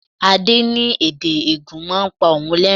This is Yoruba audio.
Adé ní èdè Ègùn máa ń pa òun lerin-in.